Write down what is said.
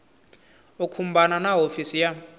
u khumbana na hofisi ya